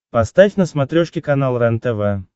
поставь на смотрешке канал рентв